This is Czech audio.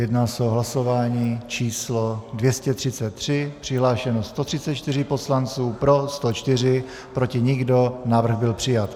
Jedná se o hlasování číslo 233, přihlášeno 134 poslanců, pro 104, proti nikdo, návrh byl přijat.